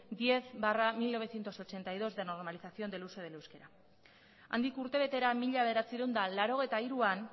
diez barra mil novecientos ochenta y dos de normalización del uso del euskara handik urtebetera mila bederatziehun eta laurogeita hiruan